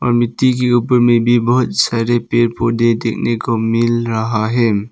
मिट्टी के ऊपर में भी बहुत सारे पेड़ पौधे देखने को मिल रहा है।